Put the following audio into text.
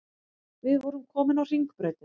Við vorum komin á Hringbrautina.